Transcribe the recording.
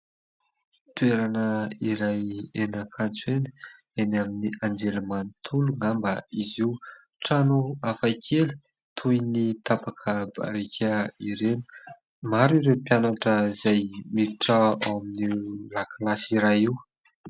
Toerana iray eny Ankatso eny, eny amin'ny anjerimanontolo angamba izy io, trano hafakely toy ny tapaka barika ireny ; maro ireo mpianatra izay miditra ao amin'io lakilasy iray io.